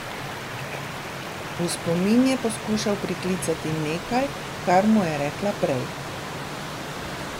V spomin je poskušal priklicati nekaj, kar mu je rekla prej.